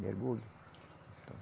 Mergulha.